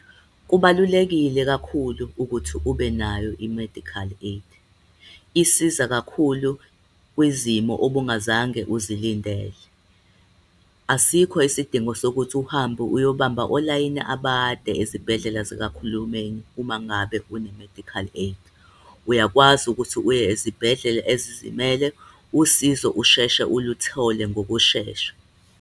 Kubalulekile kakhulu ukuthi ubenayo i-medical aid. Isiza kakhulu kwizimo obungazange uzilindele. Asikho isidingo sokuthi uhambe uyobamba olayini abade izibhedlela zikahulumeni uma ngabe une-medical aid. Uyakwazi ukuthi uye ezibhedlela ezizimele usizo usheshe uluthole ngokushesha.